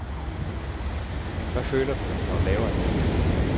Hvad føler du, når du laver et mål?